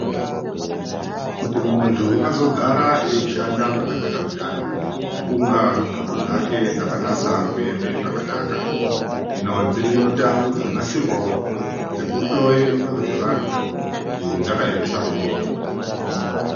Kuti muntu azogara eishanda zvakanaka zviyana kunga nxlondo dzake dzakanasa kuema zvakanaka, hino dziriyo ndau dzakanasirwawo dzekuhloye nxlondo dzevantu kuti dzakaemesa kudini.